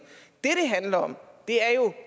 handler om er jo